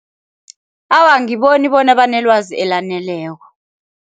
Awa, angiboni bona banelwazi elaneleko.